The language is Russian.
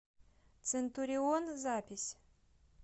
центурион запись